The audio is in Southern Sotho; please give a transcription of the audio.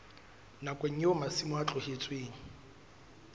nakong eo masimo a tlohetsweng